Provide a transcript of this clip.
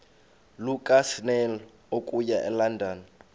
lukasnail okuya elondon